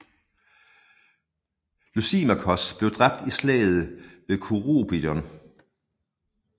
Lysimakos bliver dræbt i Slaget ved Kurupedion